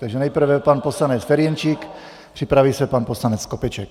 Takže nejprve pan poslanec Ferjenčík, připraví se pan poslanec Skopeček.